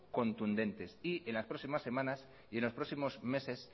contundentes y en las próximas semanas y en los próximos meses